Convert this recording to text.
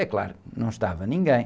É claro, não estava ninguém.